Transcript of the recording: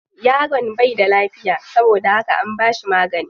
Yaron bai da lafiya saboda haka an bashi magani.